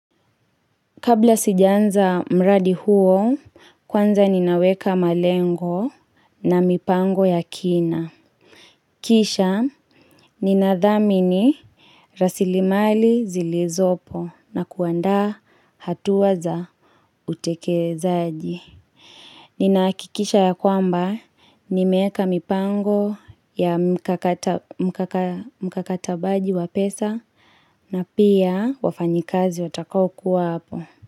Kabla sijaanza mradi huo, kwanza ninaweka malengo na mipango ya kina. Kisha, ninadhamini rasilimali zilizopo na kuandaa hatua za utekelezaji. Ninahakikisha ya kwamba, nimeeka mipango ya mkakatabaji wa pesa na pia wafanyikazi watakao kuwa hapo.